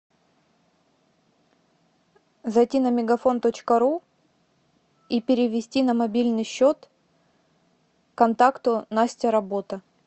зайти на мегафон точка ру и перевести на мобильный счет контакту настя работа